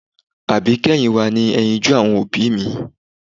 Àbíkẹ́yìn wa ni ẹyinjú àwọn òbí mi